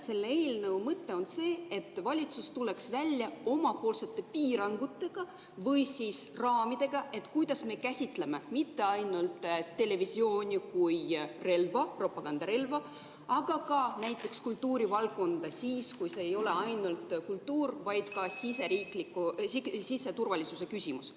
Selle eelnõu mõte on see, et valitsus tuleks välja omapoolsete piirangutega või raamidega, kuidas me käsitleme mitte ainult televisiooni kui relva, propagandarelva, aga ka näiteks kultuurivaldkonda siis, kui see ei ole ainult kultuur, vaid ka siseturvalisuse küsimus.